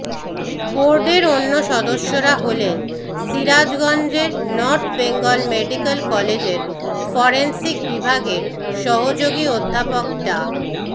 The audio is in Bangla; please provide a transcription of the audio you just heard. বোর্ডের অন্য সদস্যরা হলেন সিরাজগঞ্জের নর্থ বেঙ্গল মেডিকেল কলেজের ফরেনসিক বিভাগের সহযোগী অধ্যাপক ডা